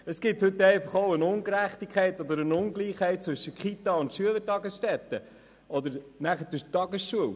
Es besteht heute eine Ungerechtigkeit beziehungsweise eine Ungleichheit zwischen Kitas, Schülertagesstätten und Tagesschulen.